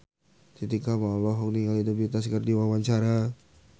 Titi Kamal olohok ningali The Beatles keur diwawancara